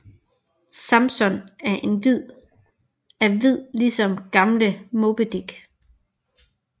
Samson er hvid ligesom gamle Moby Dick